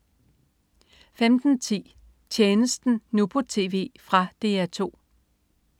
15.10 Tjenesten, nu på TV. Fra DR 2